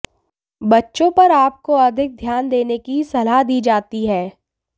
बच्चों पर आपको अधिक ध्यान देने की सलाह दी जाती है